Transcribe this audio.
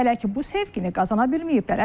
Hələ ki bu sevgini qazana bilməyiblər.